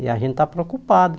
E a gente está preocupado.